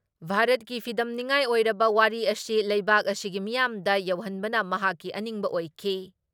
ꯚꯥꯔꯠꯀꯤ ꯐꯤꯗꯝꯅꯤꯉꯥꯏ ꯑꯣꯏꯔꯕ ꯋꯥꯔꯤ ꯑꯁꯤ ꯂꯩꯕꯥꯛ ꯑꯁꯤꯒꯤ ꯃꯤꯌꯥꯝꯗ ꯌꯧꯍꯟꯕꯅ ꯃꯍꯥꯛꯀꯤ ꯑꯅꯤꯡꯕ ꯑꯣꯏꯈꯤ ꯫